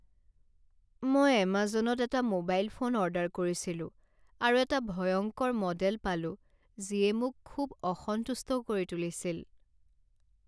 মই এমাজনত এটা মোবাইল ফোন অৰ্ডাৰ কৰিছিলো আৰু এটা ভয়ংকৰ মডেল পালো যিয়ে মোক খুব অসন্তুষ্ট কৰি তুলিছিল।